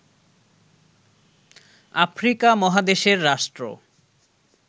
Africa মহাদেশের রাষ্ট্র